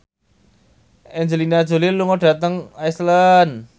Angelina Jolie lunga dhateng Iceland